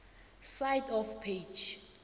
side of page